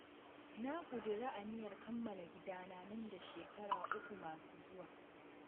Na ƙudiri aniyar kammala gidana nan da shekara uku masu zuwa.